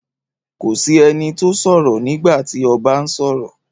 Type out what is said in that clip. Kò sí ẹni tó sọ̀rọ̀ nígbà tí ọba ń sọ̀rọ̀.